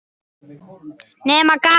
Nema gaman.